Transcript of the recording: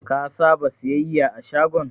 Ka saba siyayya a shagon?